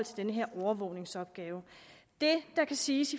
den her overvågningsopgave det der kan siges